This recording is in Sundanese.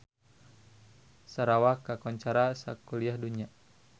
Sarawak kakoncara sakuliah dunya